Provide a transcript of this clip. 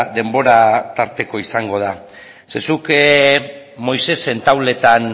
denbora tarteko izango da zuk moisesen tauletan